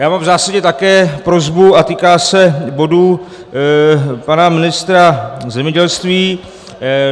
Já mám v zásadě také prosbu a týká se bodů pana ministra zemědělství.